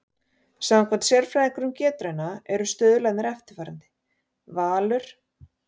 Samkvæmt sérfræðingum Getrauna eru stuðlarnir eftirfarandi: Valur